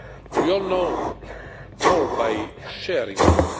We all know more by sharing more.